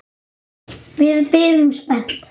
Við biðum spennt.